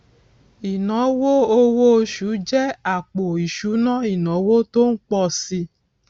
ìnáwó owó oṣù jẹ àpò ìṣúná ìnáwó tó ń pọ si